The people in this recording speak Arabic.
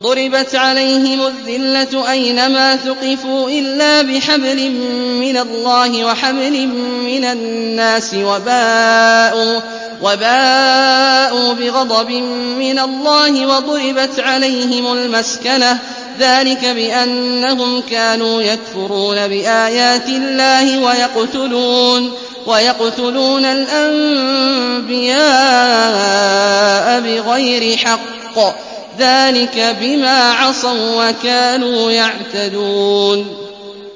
ضُرِبَتْ عَلَيْهِمُ الذِّلَّةُ أَيْنَ مَا ثُقِفُوا إِلَّا بِحَبْلٍ مِّنَ اللَّهِ وَحَبْلٍ مِّنَ النَّاسِ وَبَاءُوا بِغَضَبٍ مِّنَ اللَّهِ وَضُرِبَتْ عَلَيْهِمُ الْمَسْكَنَةُ ۚ ذَٰلِكَ بِأَنَّهُمْ كَانُوا يَكْفُرُونَ بِآيَاتِ اللَّهِ وَيَقْتُلُونَ الْأَنبِيَاءَ بِغَيْرِ حَقٍّ ۚ ذَٰلِكَ بِمَا عَصَوا وَّكَانُوا يَعْتَدُونَ